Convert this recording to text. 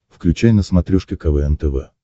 включай на смотрешке квн тв